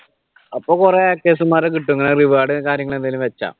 അപ്പൊ കുറെ hackers മാരെ കിട്ടും കാര്യങ്ങൾ എന്തെങ്കിലും വെച്ചാൽ